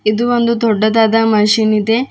ಇದು ಒಂದು ದೊಡ್ಡದಾದ ಮಷೀನ್ ಇದೆ.